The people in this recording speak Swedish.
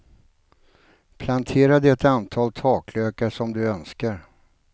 Plantera det antal taklökar som du önskar.